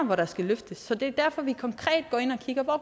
hvor der skal løftes så det er derfor vi konkret går ind og kigger på